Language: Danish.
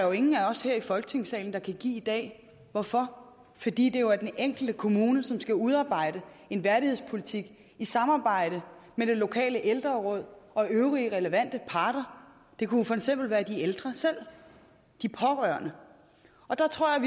jo ingen af os her i folketingssalen der kan give i dag hvorfor fordi det jo er den enkelte kommune som skal udarbejde en værdighedspolitik i samarbejde med det lokale ældreråd og øvrige relevante parter det kunne for eksempel være de ældre selv og de pårørende og der tror jeg